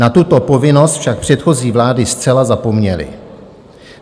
Na tuto povinnost však předchozí vlády zcela zapomněly.